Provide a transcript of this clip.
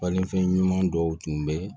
Balifɛn ɲuman dɔw tun bɛ